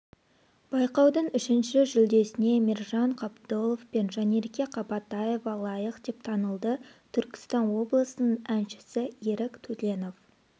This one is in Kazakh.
байқаудың үшінші жүлдесіне мержан қабдолов пен жанерке қабатаева лайық деп танылды түркістан облысының әншісі ерік төленов